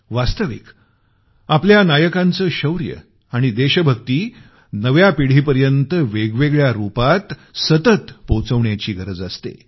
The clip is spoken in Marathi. वास्तविक आपल्या नायकांचं शौर्य आणि देशभक्ती नव्या पिढीपर्यंत वेगवेगळ्या रूपांत सतत पोहोचवण्याची गरज असते